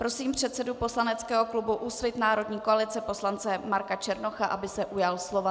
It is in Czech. Prosím předsedu poslaneckého klubu Úsvit národní koalice poslance Marka Černocha, aby se ujal slova.